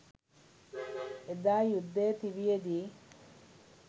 එදා යුද්ධය තිබියදී